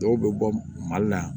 Dɔw bɛ bɔ mali la